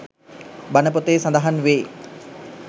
බණ පොතේ සඳහන් වේ.